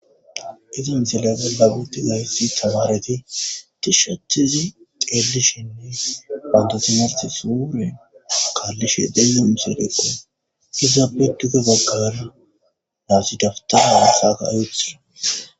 iza misile galaguti gayssi tamareti tishshachezi xeellishinne bantosimarti suure kaallishe deeze umuseleqo izaabeduge baggara laasi daftaa haasaka ayuthira